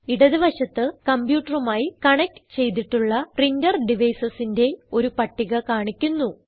ഇടത് വശത്ത് കംപ്യൂട്ടറുമായി കണക്റ്റ് ചെയ്തിട്ടുള്ള പ്രിന്റർ devicesന്റെ ഒരു പട്ടിക കാണിക്കുന്നു